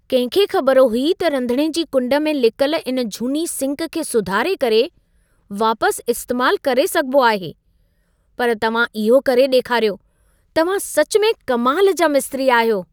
कंहिं खे ख़बर हुई त रंधिणे जी कुंड में लिकल इन झूनी सिंक खे सुधारे करे वापसि इस्तेमालु करे सघिबो आहे। पर तव्हां इहो करे ॾेखारियो। तव्हां सच में कमाल जा मिस्त्री आहियो।